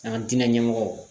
An diinɛ ɲɛmɔgɔw